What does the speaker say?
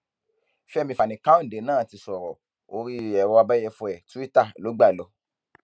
fẹmí fanikanode náà ti sọrọ orí ẹrọ abẹyẹfọ ẹ twitter ló gbà lọ